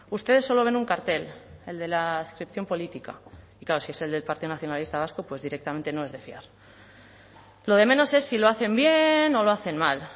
ustedes solo ven un cartel el de la adscripción política y claro si es el del partido nacionalista vasco pues directamente no es de fiar lo de menos es si lo hacen bien o lo hacen mal